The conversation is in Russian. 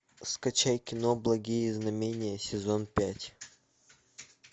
скачай кино благие знамения сезон пять